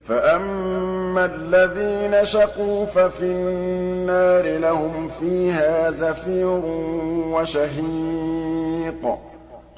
فَأَمَّا الَّذِينَ شَقُوا فَفِي النَّارِ لَهُمْ فِيهَا زَفِيرٌ وَشَهِيقٌ